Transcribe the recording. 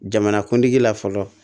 Jamanakuntigi la fɔlɔ